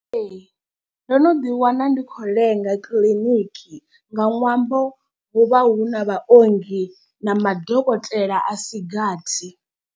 Ee, ndo no ḓi wana ndi khou lenga kiḽiniki nga ṅwambo hu vha hu na vha ongi na madokotela a si gathi.